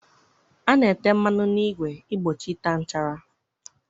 A na-ete mmanụ n'igwe igbochi ịta nchara.